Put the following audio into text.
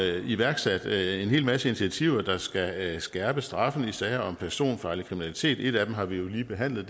iværksat en hel masse initiativer der skal skærpe straffen i sager om personfarlig kriminalitet et af dem har vi lige behandlet